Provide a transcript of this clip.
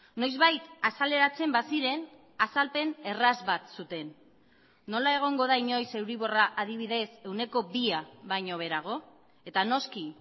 noizbait azaleratzen baziren azalpen erraz bat zuten nola egongo da inoiz euriborra adibidez ehuneko bia baino beherago eta noski